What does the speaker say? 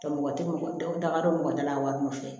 Tɛ mɔgɔ tɛ mɔgɔ dafa don mɔgɔ dala wari nɔfɛ